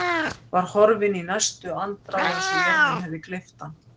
Var horfinn í næstu andrá eins og jörðin hefði gleypt hann.